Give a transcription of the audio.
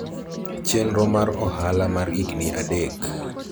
chenro mar ohala mar higni adek